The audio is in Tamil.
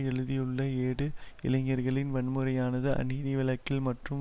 எழுதியிருந்த ஏடு இளைஞர்களின் வன்முறையானது அநீதி வலக்கல் மற்றும்